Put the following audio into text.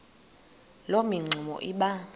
loo mingxuma iba